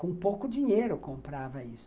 Com pouco dinheiro comprava isso.